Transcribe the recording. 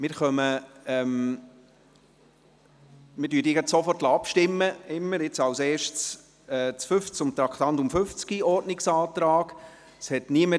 Wir lassen jeweils sofort abstimmen und kommen zuerst zum Ordnungsantrag zum Traktandum 50.